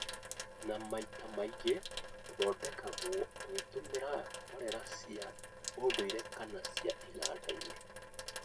na maita mangĩ ũthondekagwo ũgĩtũmĩra mborera cia ũndũire kana cia iganda-inĩ.